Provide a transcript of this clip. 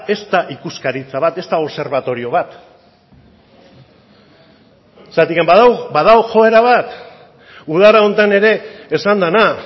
ez da ikuskaritza bat ez da obserbatorio bat zergatik badago joera bat udara honetan ere esan dena